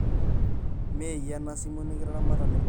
meyie ena simu nikitimiraka nebolo